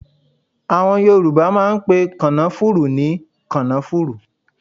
Àwọn Yorùbá máà ń pe kànáfùrú ní kànáfùrú